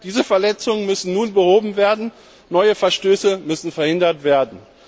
Diese Verletzungen müssen nun behoben werden, neue Verstöße müssen verhindert werden.